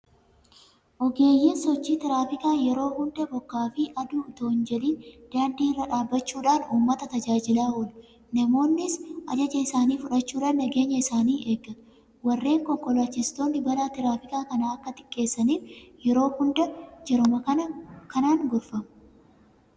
Ogeeyyiin sochii tiraafikaa yeroo hunda bokkaafi aduu itoo hinjedhin daandii irra dhaabbachuudhaan uummata tajaajilaa oolu. Namoonnis ajaja isaanii fudhachuudhaan nageenya isaanii eeggatu. Warreen konkolaachistoonnis balaa tiraafikaa kana akka xiqqeessaniif yeroo hunda jaruma kanaan gorfamu.